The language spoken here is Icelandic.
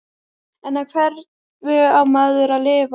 En á hverju á maður að lifa?